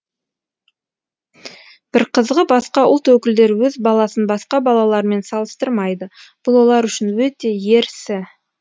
бір қызығы басқа ұлт өкілдері өз баласын басқа балалармен салыстырмайды бұл олар үшін өте ерсі